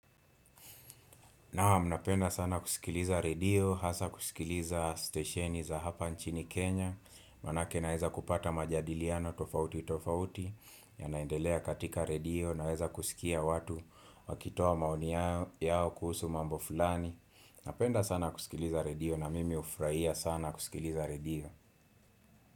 Naam napenda sana kusikiliza redio, hasa kusikiliza stesheni za hapa nchini Kenya, manake naeza kupata majadiliano tofauti tofauti, yanaendelea katika redio, naeza kusikia watu wakitoa maoni yao kuhusu mambo fulani. Napenda sana kusikiliza redio na mimi hufurahia sana kusikiliza redio.